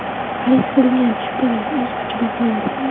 Xarid qilingan chiptalar o‘z kuchida qoladi.